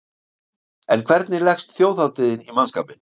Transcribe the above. En hvernig leggst þjóðhátíðin í mannskapinn?